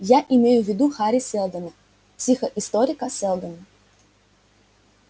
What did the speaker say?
я имею в виду хари сэлдона психоисторика сэлдона